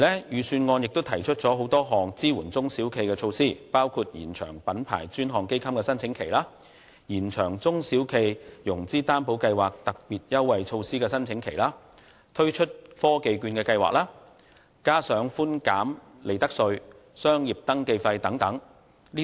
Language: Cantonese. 預算案亦提出很多項支援中小企的措施，包括延長品牌專項基金的申請期；延長中小企融資擔保計劃的特別優惠措施申請期；推出科技券計劃，以及寬減利得稅和商業登記費等。